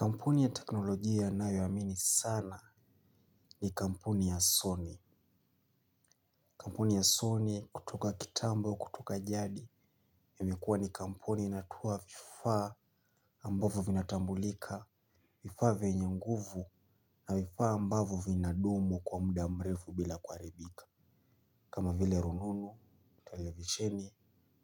Kampuni ya teknolojia nayo amini sana ni kampuni ya Sony. Kampuni ya Sony kutoka kitambo kutoka jadi ya imekuwa ni kampuni inatoa vifaa ambavyo vina tambulika, vifaa vyenye nguvu na vifaa ambavyo vina dumu kwa mda mrevu bila kuharibika. Kama vile rununu, televisheni,